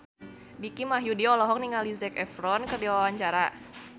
Dicky Wahyudi olohok ningali Zac Efron keur diwawancara